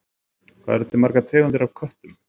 Hvað eru til margar tegundir af köttum?